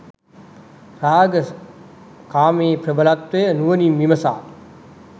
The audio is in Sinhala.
රාග කාමයේ ප්‍රබලත්වය නුවණින් විමසා